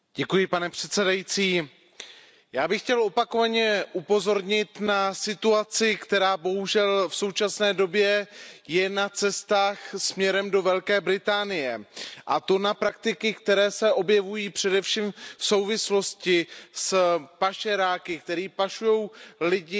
Pane předsedající, já bych chtěl opakovaně upozornit na situaci, která bohužel v současné době je na cestách směrem do Velké Británie, a to na praktiky, které se objevují především v souvislosti s pašeráky, kteří pašují lidi